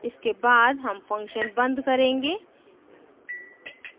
इसके बाद हम function बंद करेंगे